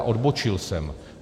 A odbočil jsem.